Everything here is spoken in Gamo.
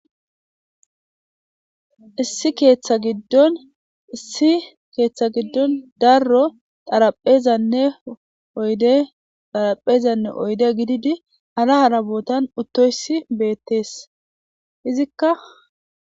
Issi keeththa giddon issi keeththa giddon darro xaraphezanne oyde xaraphezanne oyde gididi ara harabootan uttoysi beettees izikka